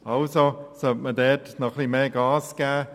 Also sollte man mehr Gas geben.